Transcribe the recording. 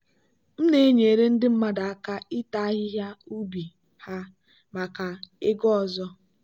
m na-enyere ndị mmadụ aka ịta ahịhịa ubi ha maka ego ọzọ.